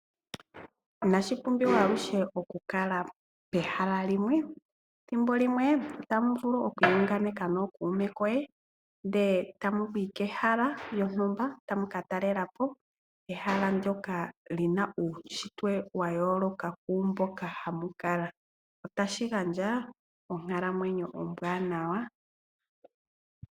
Inashi pumbiwa aluhe okukala pehala limwe, ethimbo limwe ohamu vulu okwiihunganeka nookuume koye, ndele tamu yi kehala lyontumba, tamu ka talelapo ehala ndjoka lina uushitwe wa yooloka kwaamboka hamu kala. Otashi gandja onkalamwenyo ombwaanawa.